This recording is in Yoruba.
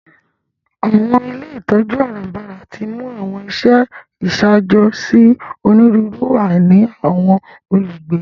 Àwọn ilé ìtójú àràbarà timú àwọn iṣẹ iṣaajo si oniruuru àìní àwọn olugbe.